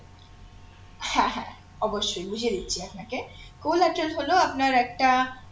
হ্যাঁ হ্যাঁ অবশ্যই বুঝিয়ে দিচ্ছি আপনাকে collateral হলো আপনার একটা